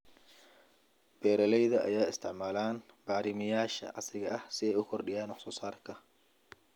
Beeralayda ayaa isticmaala bacrimiyeyaasha casriga ah si ay u kordhiyaan wax soo saarka.